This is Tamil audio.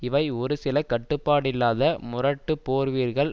இவை ஒரு சில கட்டுப்பாடில்லாத முரட்டு போர் வீர்கள்